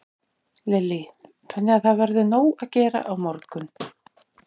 Lillý: Þannig að það verður nóg að gera á morgun?